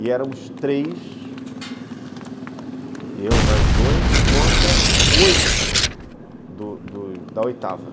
E éramos três, eu e mais dois, contra oito do do da oitava.